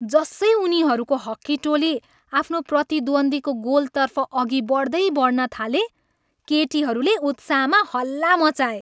जसै उनीहरूको हक्की टोली आफ्नो प्रतिद्वन्द्वीको गोलतर्फ अघि बढ्दै बढ्न थाले, केटीहरूले उत्साहमा हल्ला मचाए।